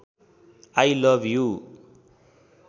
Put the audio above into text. I love you